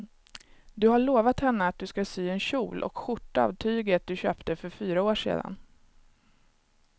Du har lovat henne att du ska sy en kjol och skjorta av tyget du köpte för fyra år sedan.